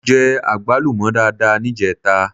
Mo jẹ àgbálùmọ́ dáadáa níjẹta.